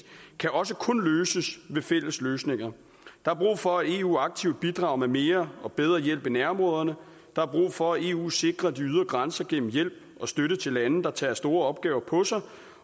kan også kun løses ved fælles løsninger der er brug for at eu aktivt bidrager med mere og bedre hjælp i nærområderne der er brug for at eu sikrer de ydre grænser gennem hjælp og støtte til lande der tager store opgaver på sig